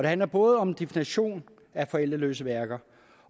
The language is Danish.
handler både om definitionen af forældreløse værker